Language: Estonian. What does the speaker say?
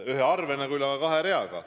On küll üks arve, aga kaks rida.